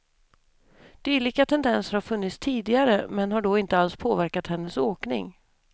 Dylika tendenser har funnits tidigare, men har då inte alls påverkat hennes åkning.